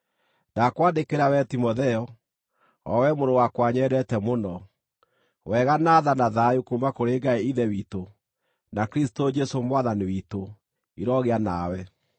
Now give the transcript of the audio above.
Ndakwandĩkĩra wee Timotheo, o we mũrũ wakwa nyendete mũno: Wega, na tha, na thayũ kuuma kũrĩ Ngai Ithe witũ, na Kristũ Jesũ Mwathani witũ, irogĩa nawe.